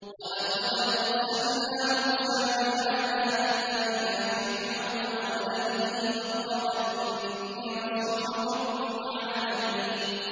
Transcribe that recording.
وَلَقَدْ أَرْسَلْنَا مُوسَىٰ بِآيَاتِنَا إِلَىٰ فِرْعَوْنَ وَمَلَئِهِ فَقَالَ إِنِّي رَسُولُ رَبِّ الْعَالَمِينَ